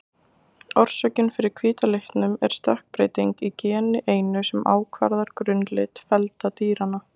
Orsökin fyrir hvíta litnum er stökkbreyting í geni einu sem ákvarðar grunnlit feldar dýranna.